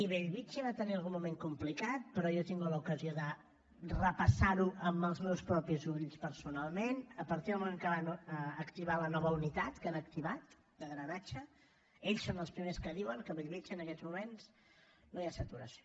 i bellvitge va tenir algun moment complicat però jo he tingut l’ocasió de repassar ho amb els meus propis ulls personalment a partir del moment que van activar la nova unitat que han activat de drenatge ells són els primers que diuen que a bellvitge en aquests moments no hi ha saturació